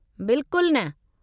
बिल्कुल न!